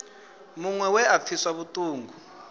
muṅwe we a pfiswa vhuṱungu